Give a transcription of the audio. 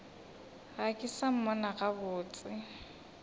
ga ke sa mmona gabotse